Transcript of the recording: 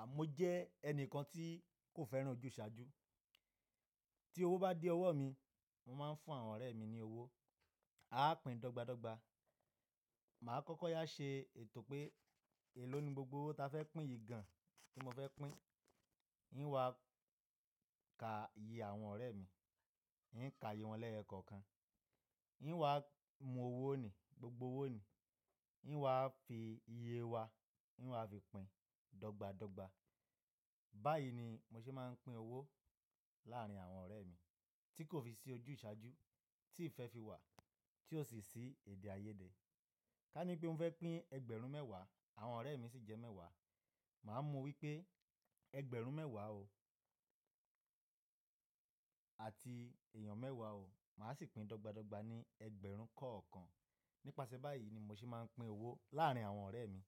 Àmọ́ ó jẹ́ ẹnìkan tí kò fẹ́ràn ojúsàájú. Tí owó bá dé ọwọ́ mi, mo máa ń fún àwọn ọ̀rẹ́ mi ní owó. A á pín dọ́gbadọ́gba. Màá kọ́kọ́ yá ṣe ètò pé, èló ni gbogbo owó ta fẹ́ pín yìí gan-an tí mo fẹ́ pín. N wá ka iye àwọn ọ̀rẹ́ mi. N ka iye wọn lẹ́yọkọ̀kan. N wá mú owó nilì, gbogbo owó nì. N wá fi iye wa, n wá fi pín dọ́gbadọ́gba. Báyìí ni mo ṣe máa ń pín owó láàárín àwọn ọ̀rẹ́ mi tí kò fi sí ojúsàájú, tí ìfẹ́ fi wà, tí ò sì sí èdè àyedè. Ká ní pé mo fẹ́ pín ẹgbẹ̀rún mẹ́wàá, àwọn ọ̀rẹ́ mi sì jẹ́ mẹ́wàá. Màá mu wípé ẹgbẹ̀rún mẹ́wàá o àti èèyàn mẹ́wàá o, màá sì pín dọ́gbadọ́gba ní ẹgbẹ̀rún kọ̀ọ̀kan. Nípasẹ̀ báyìí ni mo ṣe máa ń pín owó láàárín àwọn ọ̀rẹ́ mi